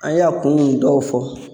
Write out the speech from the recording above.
An ye a kun dɔw fɔ.